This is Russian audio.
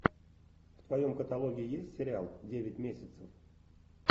в твоем каталоге есть сериал девять месяцев